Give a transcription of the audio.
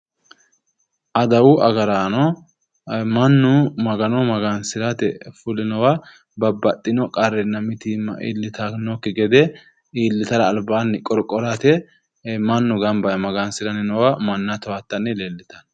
Adawu agaraano mannu magano magansirate fulinowa babbaxxino qarrinna mitiimma iillitannokki gede iillitara albaanni qorqorate mannu gamba yee magansiranni noowa manna towattanni leellitanno